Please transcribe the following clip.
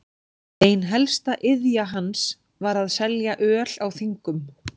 Ein helsta iðja hans var að selja öl á þingum.